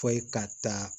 Fɔ ka taa